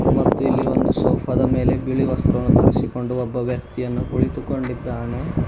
ಮತ್ತು ಇಲ್ಲಿ ಒಂದು ಸೋಪಾದ ಮೇಲೆ ಬಿಳಿ ವಸ್ತ್ರವನ್ನು ಧರಿಸಿಕೊಂಡು ಒಬ್ಬ ವ್ಯಕ್ತಿಯನ್ನು ಕುಳಿತುಕೊಂಡಿದ್ದಾನೆ.